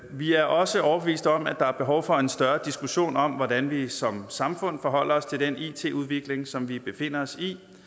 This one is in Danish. vi er også overbeviste om at der er behov for en større diskussion om hvordan vi som samfund forholder os til den it udvikling som vi befinder os